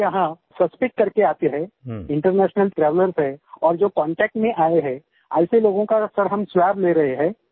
जो लोग हमारे यहाँ सस्पेक्ट करके आते हैं इंटरनेशनल ट्रैवेलर्स हैं और जो कॉन्टैक्ट में आये हैं ऐसे लोगों का सर हम स्वाब ले रहें हैं